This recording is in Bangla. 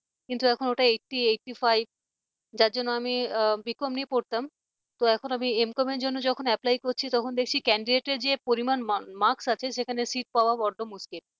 কিন্তু এখন ওটা eighty, eighty five যার জন্য আমি b. com নিয়ে পড়তাম তো এখন আমি m. com জন্য যখন apply করছি তখন দেখছি candidate র যে পরিমাণ marks আছে সেখানে sit পাওয়া বড্ড মুশকিল